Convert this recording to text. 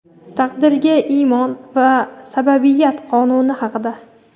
Taqdirga iymon va sababiyat qonuni haqida.